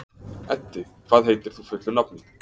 Eddi, hvað heitir þú fullu nafni?